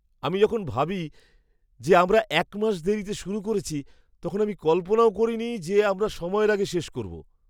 আমি যখন ভাবি যে আমরা এক মাস দেরিতে শুরু করেছি, তখন আমি কল্পনাও করিনি যে আমরা সময়ের আগে শেষ করব।